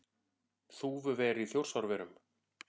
Þúfuver í Þjórsárverum.